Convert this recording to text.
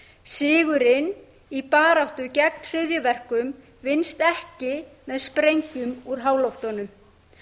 sigurinn í baráttu gegn hryðjuverkum vinnst ekki með sprengjum úr háloftunum